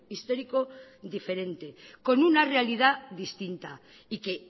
histórico diferente con una realidad distinta y que